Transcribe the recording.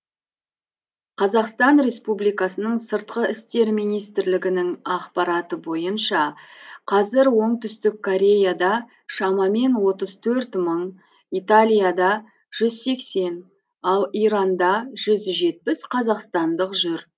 қазақстан республикасының сыртқы істер министрлігінің ақпараты бойынша қазір оңтүстік кореяда шамамен отыз төрт мың италияда жүз сексен ал иранда жүз жетпіс қазақстандық жүр